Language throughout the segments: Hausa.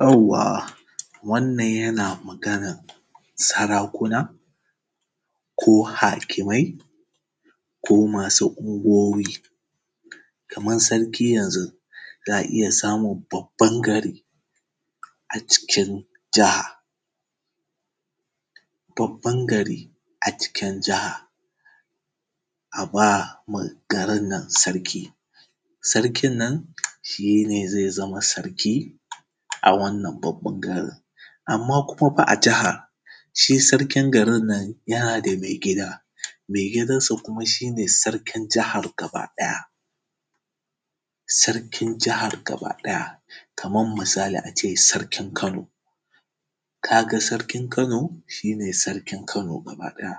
Yawwa wannan yana magana sarakuna, sarakuna ko hakimai ko masu unguwoyi. Kamar sarki yanzu, za iya samun babban gari a cikin jiha. Babban gari a cikin jiha, a ba ma garin nan sarki. Sarkin nan shi zai zama sarki, a wannan babban gari, amma kuma fa a jaha shi sarkin garin nan yana da mai gida. Megidansa kuma shi ne sarkin jahar gaba ɗaya. Sarkin jahar gaba ɗaya, kaman misali a ce sarkin Kano, ka ga sarkin Kano shi ne sarkin Kano gaba ɗaya.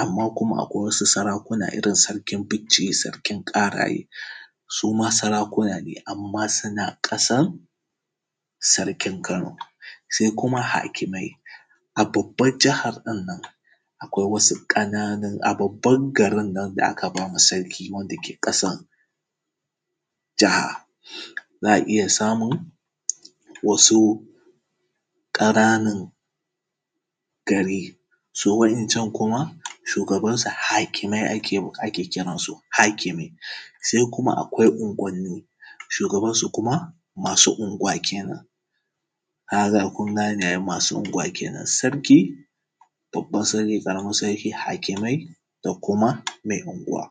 Amma kuma akwai wasu sarakunan irin su sarkin Bicci, sarkin Ƙaraye, su ma sarakuma ne, amma suna ƙasan sarki Kano. Sai kuma hakimai a babban jahan nan, nan akwai wasu ƙananun aa babban garin nan da aka ba wa sarki da ke ƙasan jaha, za a iya samun ƙananan gari, su wa’yancan kuma shugabansu hakimai ake kiransu hakimi. Sai kuma akwai unguwanni, shugaban su kuma masu unguwa kenan. Haza kun gane ai masu unguwa kenan, sarki babban sarki, ƙaramin srki, hakimai ko kuma mai unguwa.